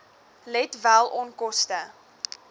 let wel onkoste